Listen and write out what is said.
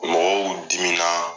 Mɔgɔw dimina